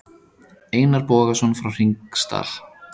Einar Bogason frá Hringsdal.